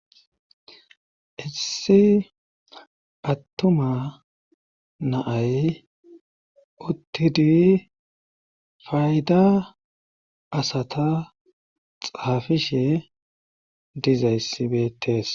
Issi attuma naay uttidi fayda asata xaafishe dizayssibeettes